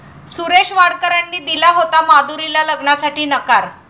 सुरेश वाडकरांनी दिला होता माधुरीला लग्नासाठी नकार